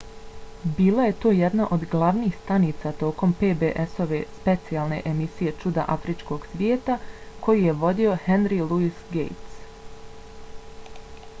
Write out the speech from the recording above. bila je to jedna od glavnih stanica tokom pbs-ove specijalne emisije čuda afričkog svijeta koju je vodio henry louis gates